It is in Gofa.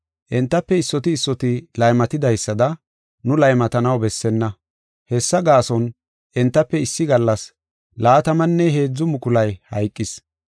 Entafe issoti issoti laymatidaysada nu laymatanaw bessenna. Hessa gaason entafe issi gallas laatamanne heedzu mukulay hayqis.